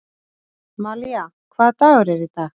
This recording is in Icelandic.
Malía, hvaða dagur er í dag?